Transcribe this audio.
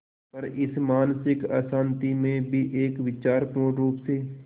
पर इस मानसिक अशांति में भी एक विचार पूर्णरुप से